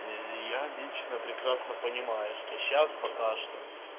и я лично прекрасно понимаю что сейчас пока что